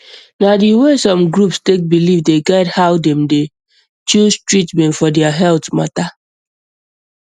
na the um way some groups take believe dey guide how dem dey um choose treatment for their health matter